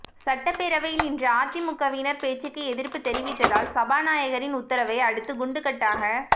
சட்டப்பேரவையில் இன்று அதிமுகவினர் பேச்சுக்கு எதிர்ப்பு தெரிவித்ததால் சபாநாயகரின் உத்தரவை அடுத்து குண்டுகட்டாக